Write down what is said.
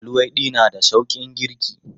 Luwaiɗi na da sauƙin girki.